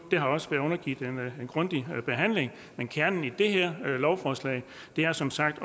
har også været undergivet en grundig behandling kernen i det her lovforslag er som sagt